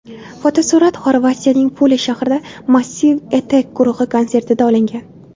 Fotosurat Xorvatiyaning Pula shahrida Massive Attack guruhi konsertida olingan.